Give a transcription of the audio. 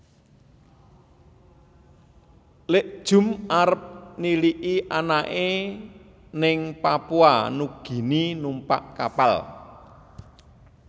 Lik Jum arep niliki anake ning Papua Nugini numpak kapal